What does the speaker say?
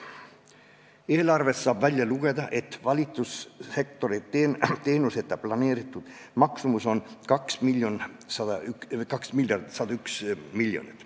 Eelarvest saab välja lugeda, et valitsussektori teenuste planeeritud maksumus on 2 miljardit ja 101 miljonit.